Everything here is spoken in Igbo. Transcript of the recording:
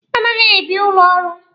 A naghị ebi n'ụlọ ọrụ.